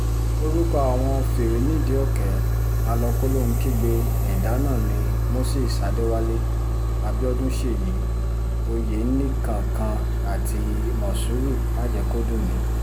orúkọ àwọn fìrí-nídìí-òkè àlọ-kòlóhun-kígbe ẹ̀dà náà ni moses adéwálé abiodun ṣèyí ọ̀yẹ́nìkankan àti mòṣúrù májèkọ́dùnmi